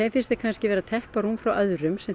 finnst þeir kannski vera að teppa rúm frá öðrum sem